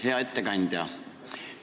Hea ettekandja!